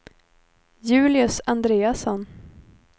Julius Andreasson